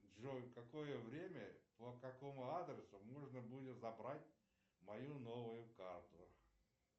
джой в какое время по какому адресу можно будет забрать мою новую карту